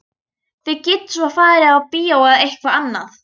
Þið getið svo farið á bíó eða eitthvað annað.